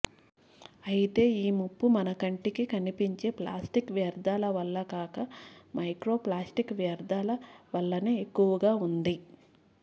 అయితే ఈ ముప్పు మన కంటికి కనిపించే ప్లాస్టిక్ వ్యర్థాల వల్ల కాక మైక్రో ప్లాస్టిక్ వ్యర్థాలవల్లనే ఎక్కువగా ఉంది